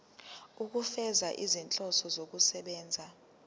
ukufeza izinhloso zokusebenzisa